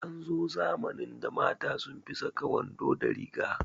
An zo zamanin da mata sun fi saka wando da riga